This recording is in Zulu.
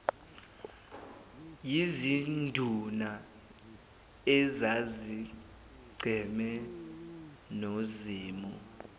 yizinduna ezazicheme nozimu